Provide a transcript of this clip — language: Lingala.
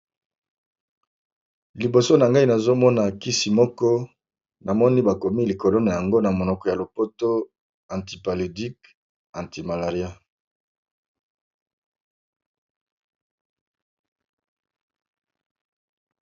Liboso na ngai nazomona kisi moko na moni bakomi likolo na yango na monoko ya lopoto anti palodique anti malaria.